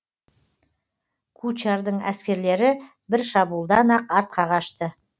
кучардың әскерлері бір шабуылдан ақ артқа қашты